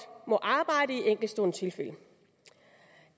må arbejde i enkeltstående tilfælde